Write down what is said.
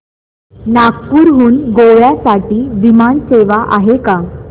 नागपूर हून गोव्या साठी विमान सेवा आहे का